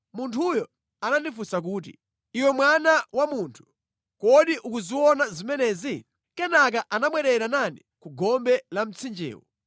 Munthuyo anandifunsa kuti: “Iwe mwana wa munthu, kodi ukuziona zimenezi?” Kenaka anabwerera nane ku gombe la mtsinjewo.